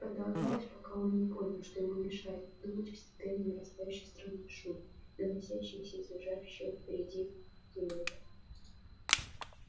так продолжалось пока он не понял что ему мешает думать постепенно нарастающий странный шум доносящийся из лежащего впереди туннеля